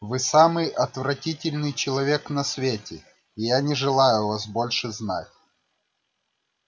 вы самый отвратительный человек на свете и я не желаю вас больше знать